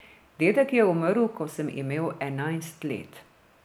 Dedek je umrl, ko sem imel enajst let.